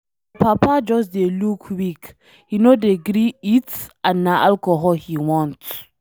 My papa just dey look weak, he no dey gree eat and na alcohol he want.